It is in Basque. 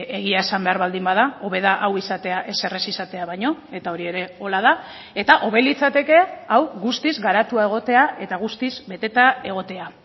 egia esan behar baldin bada hobe da hau izatea ezer ez izatea baino eta hori ere horrela da eta hobe litzateke hau guztiz garatua egotea eta guztiz beteta egotea